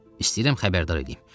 İstəyirəm xəbərdar eləyim.